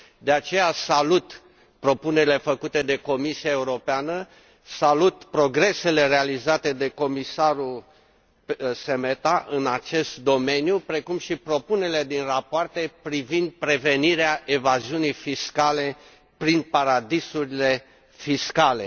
De aceea salut propunerile făcute de Comisia Europeană, salut progresele realizate de comisarul Šemeta în acest domeniu, precum și propunerile din rapoarte privind prevenirea evaziunii fiscale prin paradisuri fiscale.